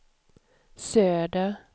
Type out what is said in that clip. söder